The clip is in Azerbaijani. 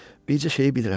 Bircə şeyi bilirəm.